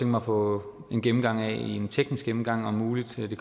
mig at få en gennemgang af en teknisk gennemgang om muligt det